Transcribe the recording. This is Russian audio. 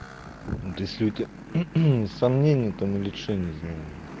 ну ты если у тебя сомнения там или че я не знаю блин